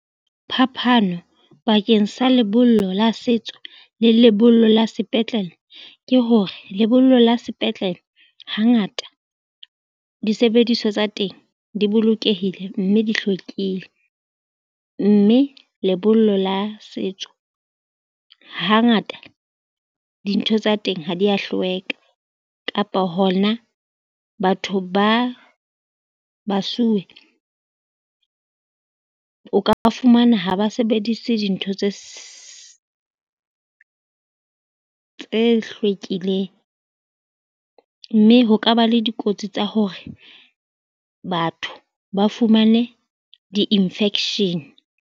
Phapano bakeng sa lebollo la setso le lebollo la sepetlele ke hore lebollo la sepetlele hangata disebediswa tsa teng di bolokehile, mme di hlwekile, mme lebollo la setso hangata dintho tsa teng ha dia hlweka kapa hona batho ba basuwe, o ka ba fumana ha ba sebedise dintho tse tse hlwekileng mme ho ka ba le dikotsi tsa hore batho ba fumane di-infection.